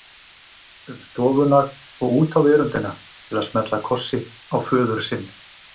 um stofuna og út á veröndina til að smella kossi á föður sinn.